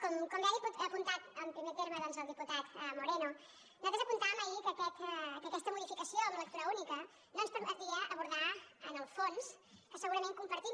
com bé ha apuntat en primer terme doncs el diputat moreno nosaltres apuntàvem ahir que aquesta modificació amb lectura única no ens permetia abordar en el fons que segurament compartim